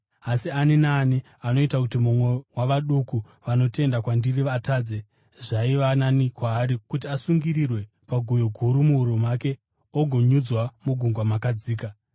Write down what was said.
Asi ani naani anoita kuti mumwe wavaduku vanotenda kwandiri atadze, zvaiva nani kwaari kuti asungirirwe guyo guru muhuro make agonyudzwa mugungwa makadzika.